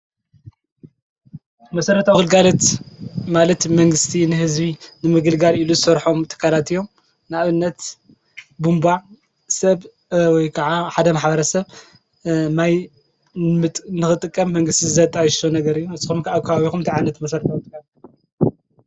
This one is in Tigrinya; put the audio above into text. መሠረቶ ኣኽልጋለት ማለት መንግሥቲ ንሕዝቢ ንምግልጋር ኢሉ ሠርሖም ተካራት እዮም ንእነት ቡምባዕ ሰብወይ ከዓ ሓደም ሓባረ ሰብ ማይ ንኽጥቀም መንግሥቲ ዘጣኣይሽሶ ነገር እዩ እስም ከኣካባቢኹም ተዓነት መሠረተ ኣዉጥካር።